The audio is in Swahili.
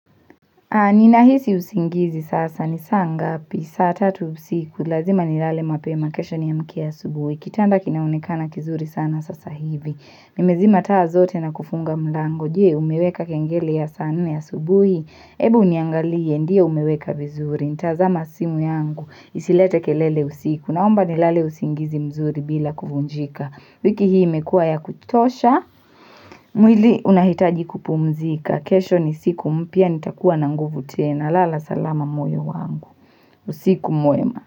Ni nahisi usingizi sasa ni saa ngapi, saa tatu usiku, lazima ni lale mapema kesho niamke asubuhi, kitanda kinaonekana kizuri sana sasa hivi, mimezima taa zote na kufunga mlango, je umeweka kengele ya saa nne asubuhi, ebu niangalie, ndiyo umeweka vizuri, nitazima simu yangu, isilete kelele usiku, naomba ni lale usingizi mzuri bila kuvunjika. Siku hii imekua ya kuchosha, mwili unahitaji kupumzika. Kesho ni siku mpya, nitakuwa na nguvu tena. Lala salama moyo wangu. Usiku mwema.